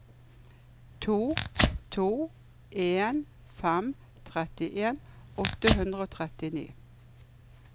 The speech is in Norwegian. to to en fem trettien åtte hundre og trettini